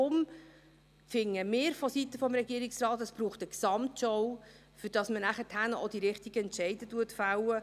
Deshalb finden wir seitens des Regierungsrats, dass es eine Gesamtschau braucht, um nachher auch die richtigen Entscheide zu fällen.